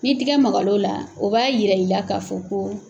Ni tigɛ magal'o la, o b'a yira i la ka fɔ ko